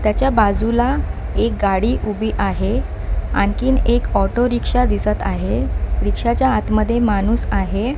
त्याच्या बाजूला एक गाडी उभी आहे आणखीन एक ऑटोरिक्षा दिसत आहे रिक्षाच्या आत मध्ये माणूस आहे.